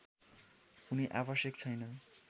कुनै आवश्यक छैन